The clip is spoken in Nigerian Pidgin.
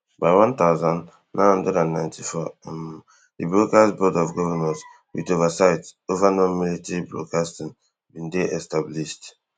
by one thousand, nine hundred and ninety-four um di broadcast board of governors with oversight over nonmilitary broadcasting bin dey established